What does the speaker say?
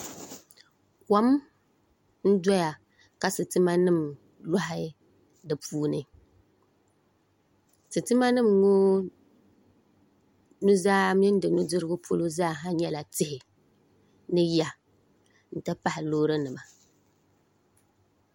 Kom n doya ka sitima nim loɣa di puuni sitima nim ŋo nuzaa mini di nudirigu polo zaa nyɛla tihi ni ya n ti pahi loori nima